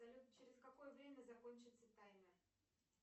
салют через какое время закончится таймер